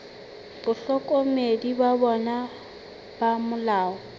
bahlokomedi ba bona ba molao